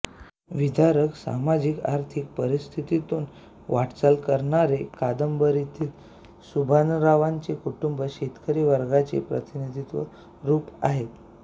विदारक सामाजिक आर्थिक परिस्थितीतून वाटचाल करणारे कादंबरीतील सुभानरावांचे कुटुंब शेतकरी वर्गाचे प्रातिनिधिक रूप आहे